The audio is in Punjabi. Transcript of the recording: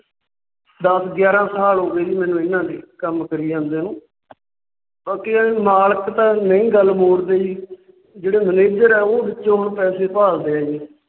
ਦੱਸ ਗਿਆਰਾਂ ਸਾਲ ਹੋ ਗਏ ਜੀ ਮੈਨੂੰ ਇਹਨਾਂ ਦੇ ਕੰਮ ਕਰੀ ਜਾਂਦੇ ਨੂੰ। ਬਾਕੀ ਇਹ ਹੈ ਕਿ ਮਾਲਕ ਤਾਂ ਨਹੀਂ ਗੱਲ ਮੋੜਦੇ ਜੀ, ਜਿਹੜੇ Manager ਆ ਉਹ ਵਿੱਚੋਂ ਹੁਣ ਪੈਸੇ ਭਾਲਦੇ ਹੈ ਜੀ ।